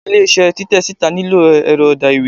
ilé iṣẹ Titẹ sita nílo erò edà-ìwé